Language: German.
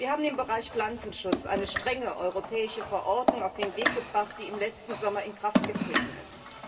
Wir haben im Bereich Pflanzenschutz eine strenge europäische Verordnung auf den Weg gebracht, die im letzten Sommer in Kraft getreten ist.